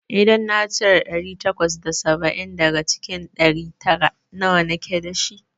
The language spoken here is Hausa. idan na cire ɗari takwas da saba'in daga cikin ɗari tara, nawa nake dashi?